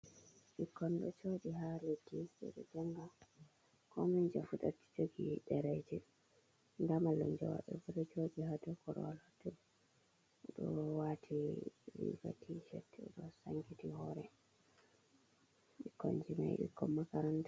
Ɓikkon ɗo joɗi ha leddi ɓe ɗo njanga komoijo fu ɗo jogi ɗereji, nda mallumjo maɓɓe fu ɗo joɗi ha dou korowal o ɗo wati riga Tshirt, o ɗo sankiti hore, ɓikkon ji ɓikkon makaranta on.